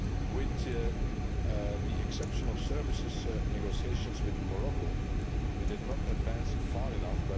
With the exception of services negotiations with Morocco, we did not advance far enough